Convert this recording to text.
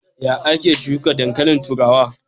Ya ake shuka dankalin turawa?